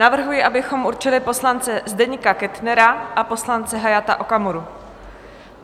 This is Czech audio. Navrhuji, abychom určili poslance Zdeňka Kettnera a poslance Hayata Okamuru.